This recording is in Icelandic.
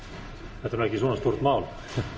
þetta er nú ekki svona stórt mál